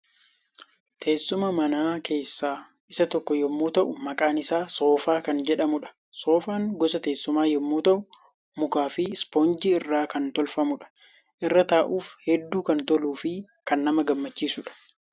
Teessuma manaa keessaa isa tokkoo yommuu ta'u maqaan isaa 'Soofaa' kan jedhamudha. Soofaan gosa teessumaa yommuu ta'u mukaa fi ispoonjii irraa kan tolfamuudha. Irra taa'uuf hedduu kan toluu fi kan nama gammachiisudha.